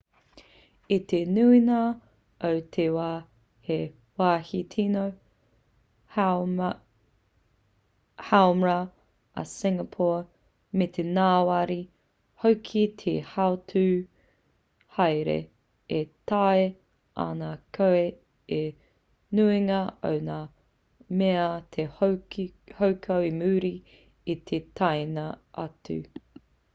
i te nuinga o te wā he wāhi tīno haumrau a singapore me te ngāwari hoki ki te hautū haere e taea ana e koe te nuinga o ngā mea te hoko i muri i te taenga atu